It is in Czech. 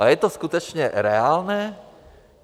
A je to skutečně reálné?